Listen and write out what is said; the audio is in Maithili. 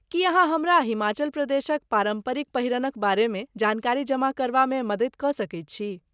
की अहाँ हमरा हिमाचल प्रदेशक पारम्परिक पहिरनक बारेमे जानकारी जमा करबामे मदति कऽ सकैत छी।